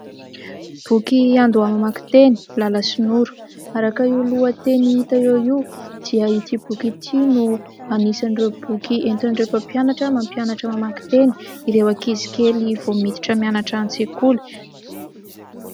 Boky iandoha-mamaky teny, Lala sy Noro. Araka io lohateny hita eo io dia ity boky ity no anisan'ireo boky entin'ireo mpampianatra, mampianatra mamaky teny ireo ankizy kely vao miditra mianatra any an-tsekoly.